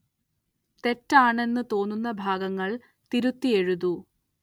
തെറ്റാണെന്ന് തോന്നുന്ന ഭാഗങ്ങള്‍ തിരുത്തി എഴുതൂ